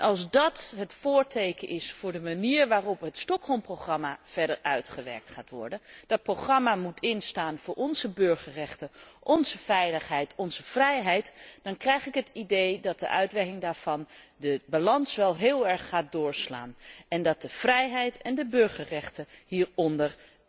Als dat het voorteken is voor de manier waarop het Stockholm programma verder uitgewerkt gaat worden een programma dat moet instaan voor onze burgerrechten, onze veiligheid, onze vrijheid dan krijg ik het idee dat de uitlegging daarvan de balans wel heel erg laat doorslaan en dat de vrijheid en de burgerrechten hier onder